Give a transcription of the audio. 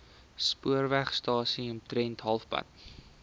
spoorwegstasie omtrent halfpad